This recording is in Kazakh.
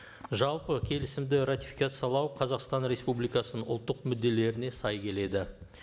жалпы келісімді ратификациялау қазақстан республикасының ұлттық мүдделеріне сай келеді